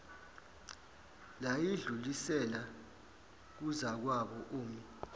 layidlulisela kuzakwabo omi